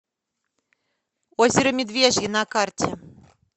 озеро медвежье на карте